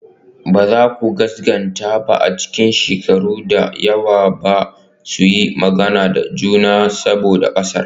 Ba za ku gaskata ba a cikin shekaru da yawa ba su yi magana da juna ba saboda ƙasar.